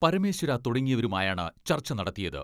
പരമേശ്വര തുടങ്ങിയവരുമായാണ് ചർച്ച നടത്തിയത്.